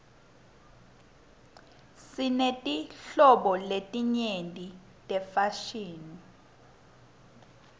sinetinhlobo letinyenti tefashini